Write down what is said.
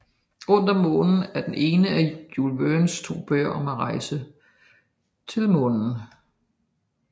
Rundt om Månen er den ene af Jules Vernes to bøger om en rejse til Månen